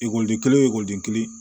Ekɔliden kelen oden kelen